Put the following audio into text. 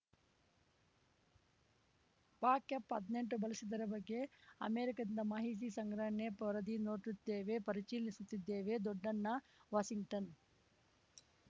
ಪಾಕ್‌ ಎಪ್ಹದ್ನೆಂಟು ಬಳಸಿದ್ದರ ಬಗ್ಗೆ ಅಮೆರಿಕದಿಂದ ಮಾಹಿತಿ ಸಂಗ್ರಹ ನೇಪ್ ವರದಿ ನೋಡಿದ್ದೇವೆ ಪರಿಚೀಲಿಸುತ್ತಿದ್ದೇವೆ ದೊಡ್ಡಣ್ಣ ವಾಷಿಂಗ್ಟನ್‌